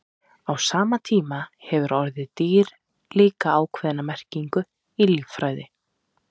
Á sama hátt hefur orðið dýr líka ákveðna merkingu í líffræði.